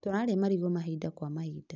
Tũrarĩa marigũ mahinda kwa mahinda